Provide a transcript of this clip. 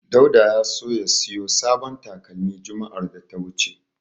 Dauda ya so ya siyo sabon talakmi juma'ar da ta wuce.